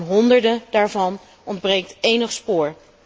Van honderden daarvan ontbreekt elk spoor.